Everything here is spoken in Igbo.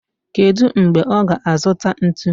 Kedu mgbe ọ ga-azụta ntu?